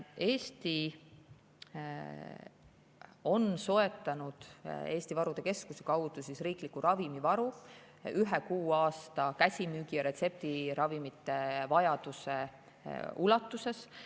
Eesti on soetanud Eesti Varude Keskuse kaudu riikliku ravimivaru ühe kuu käsimüügi‑ ja retseptiravimite vajaduse ulatuses.